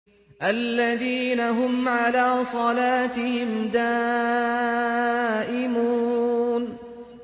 الَّذِينَ هُمْ عَلَىٰ صَلَاتِهِمْ دَائِمُونَ